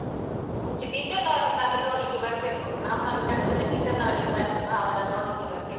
ಅಹ್ ಮುಂಚೆ teacher ನವರನ್ನಾದ್ರು ನೋಡ್ಲಿಕ್ಕೆ ಬರ್ಬೇಕು, ನಮ್ಮನ್ನು ಕಲಿಸಿದ teacher ನವರಿದ್ದಾರಲ್ವಾ ಅವರನ್ನ್ ನೋಡ್ಲಿಕ್ಕೆ ಬರ್ಬೇಕು.